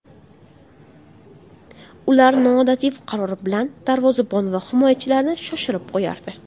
Ular noodatiy qarori bilan darvozabon va himoyachilarni shoshirib qo‘yardi.